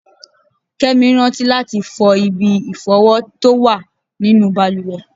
Kẹ́mi rántí láti fọ ibi ìfọ̀wọ tó wà nínú bàlùwẹ̀.